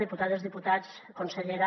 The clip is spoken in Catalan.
diputades diputats consellera